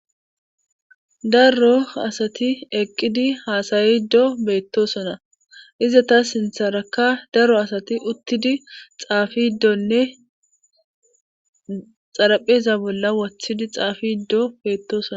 Daro asati eqqidi haasayiddo beettosona izeta sintharakka daro asati uttidi xaafiidonne xarapheza bolla wothidi xaafiddo beettoosona.